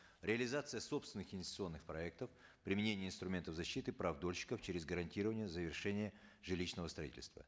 реализация собственных институционных проектов применение инструментов защиты прав дольщиков через гарантирование завершения жилищного строительства